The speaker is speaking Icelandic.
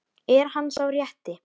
Er hann sá rétti?